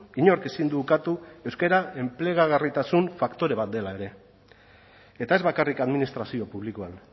inork ezin du ukatu euskara enplegagarritasun faktore bat dela ere eta ez bakarrik administrazio publikoan